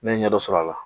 Ne ye ɲɛ dɔ sɔrɔ a la